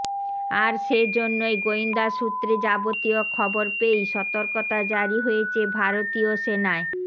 আর সেজন্যই গেয়েন্দা সূত্রে যাবতীয় খবর পেয়েই সতর্কতা জারি হয়েছে ভারতীয় সেনায়